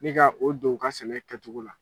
Nin ka o don u ka sɛnɛ kɛcogo la